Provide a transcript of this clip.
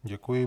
Děkuji.